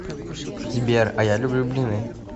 сбер а я люблю блины